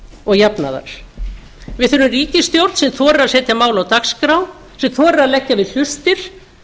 og jafnaðar við þurfum ríkisstjórn sem þorir að setja mál á dagskrá sem þorir að leggja við hlustir